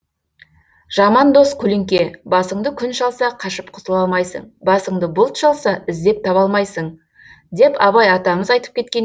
жаман дос көлеңке басыңды күн шалса қашып құтыла алмайсың басыңды бұлт шалса іздеп таба алмайсың деп абай атамыз айтып кеткен